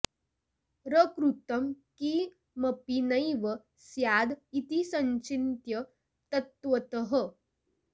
र कृतं किमपि नैव स्याद् इति संचिन्त्य तत्त्वतः